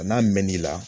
A n'a mɛn n'i la